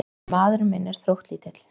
En maðurinn minn er þróttlítill.